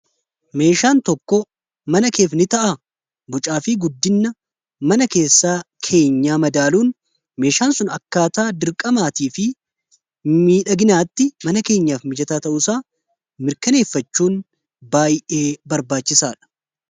meeshaan tokko mana keef ni ta'a bucaa fi guddinna mana keessaa keenyaa madaaluun meeshaan sun akkaataa dirqamaatii fi miidhaginaatti mana keenyaaf mijaataa ta'uunsaa mirkaneeffachuun baayee barbaachisaadha